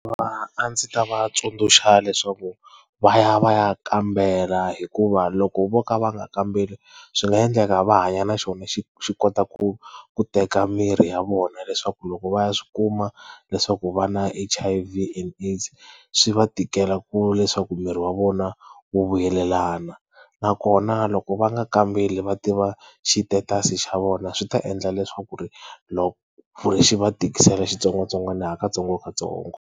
A ndzi ta va tsundzuxa leswaku va ya va ya kambela hikuva loko vo ka va nga kambeli swi nga endleka va hanya na xona xi xi kota ku ku teka mirhi ya vona leswaku loko va ya swi kuma leswaku va na H_I_V and AIDS swi va tikela ku leswaku miri wa vona wu vuyelelana nakona loko va nga kambeli va tiva xi status xa vona swi ta endla leswaku ku ri xi va tikisela xitsongwatsongwana ha katsongokatsongo.